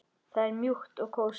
Það er mjúkt og kósí.